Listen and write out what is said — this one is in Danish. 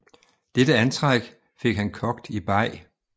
Dette antræk fik han kogt i beg